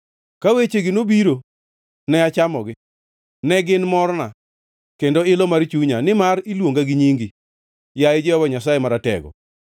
Ka wechegi nobiro, ne achamogi; ne gin morna, kendo ilo mar chunya, nimar iluonga gi nyingi, yaye Jehova Nyasaye Maratego.